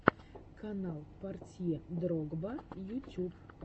канал портье дрогба ютюб